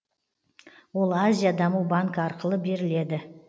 ол азия даму банкі арқылы беріледі